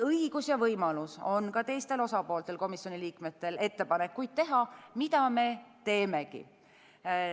Õigus ja võimalus on ka teistel osapooltel, komisjoni liikmetel, ettepanekuid teha, mida me teemegi.